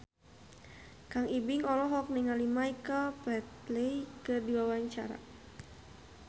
Kang Ibing olohok ningali Michael Flatley keur diwawancara